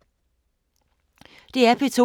DR P2